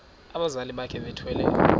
abazali bakhe bethwele